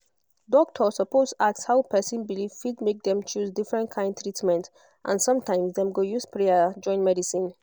doctor suppose ask how person belief fit make dem choose different kyn treatment and sometimes dem go use prayer join medicine